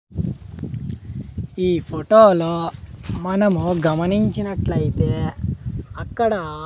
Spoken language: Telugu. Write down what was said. ఈ ఫోటో లో మనము గమనించినట్లాయితే అక్కడ --